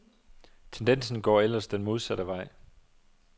Tendensen går ellers den modsatte vej.